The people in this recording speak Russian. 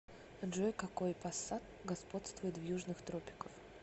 джой какой пассат господствует в южных тропиках